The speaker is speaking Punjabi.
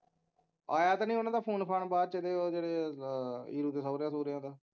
ਆਇਆ ਤੇ ਨੀ ਉਹਨਾਂ ਦਾ ਫੋਨ ਫਾਨ ਬਾਅਦ ਚ ਉਹ ਜਿਹੜੇ ਈਰੁ ਦੇ ਸੋਹਰਿਆਂ ਸੂਹਰਿਆਂ ਦਾ